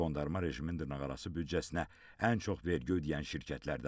Qondarma rejimin dırnaqarası büdcəsinə ən çox vergi ödəyən şirkətlərdən olub.